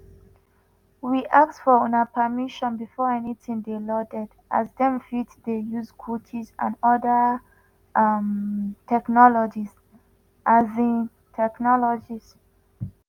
we ask for una permission before anytin dey loaded as dem fit dey use cookies and oda um technologies. um technologies.